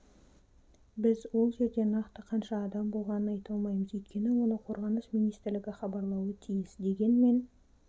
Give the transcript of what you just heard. біз ол жерде нақты қанша адам болғанын айта алмаймыз өйткені оны қорғаныс министрлігі хабарлауы тиіс дегенмен